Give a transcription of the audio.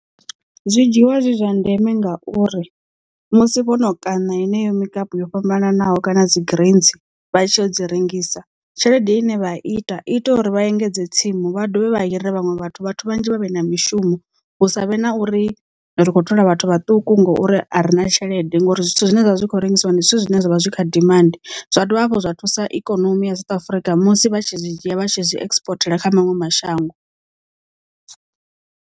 Zwi dzhiwa zwi zwa ndeme ngauri musi vhono kaṋa heneyo mukapu yo fhambananaho kana dzi greens vha tshi yo dzi rengisa tshelede ine vha ita ita uri vha engedze tsimu vha dovhe vha hire vhaṅwe vhathu vhathu vhanzhi vha vhe na mishumo hu sa vhe na uri ndi ri kho thola vhathu vhaṱuku ngori a rina tshelede ngori zwithu zwine zwavha zwi kho rengisiwa ndi zwithu zwine zwavha zwi kha dimandi zwa dovha hafhu zwa thusa ikonomi ya South Africa musi vha tshi zwi dzhia vha tshi zwi exportela kha maṅwe mashango.